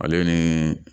Ale ni